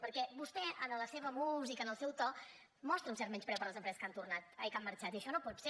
perquè vostè en la seva música en el seu to mostra un cert menyspreu per les empreses que han marxat i això no pot ser